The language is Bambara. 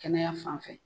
Kɛnɛya fanfɛ